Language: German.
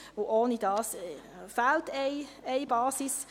ohne dieses fehlt eine Basis.